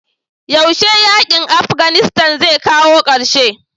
yaushe yakin Afghanistan zai kawo karshe?